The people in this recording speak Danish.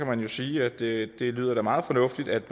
man jo sige at det da lyder meget fornuftigt at